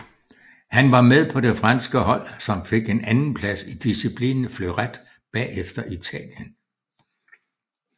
Han var med på det franske hold som fik en anden plads i disciplinen Fleuret bagefter Italien